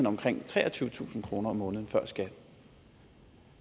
omkring treogtyvetusind kroner om måneden før skat